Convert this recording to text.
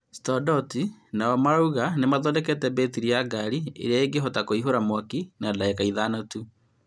StoreDot onao marauga nĩmathodekete mbetiri ya ngari ĩrĩa ingĩhota kũihũra mwaki na ndagĩka ithano tu.